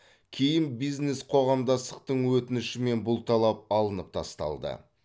кейін бизнес қоғамдастықтың өтінішімен бұл талап алынып тасталды